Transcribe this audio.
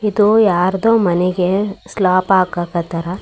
ಇದು ಯಾರದೋ ಮನೆಗೆ ಸ್ಲಾಬ್ ಹಾಕೋಕ್ ಹತ್ತರ .